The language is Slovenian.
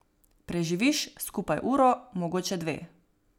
Preživiš skupaj uro, mogoče dve.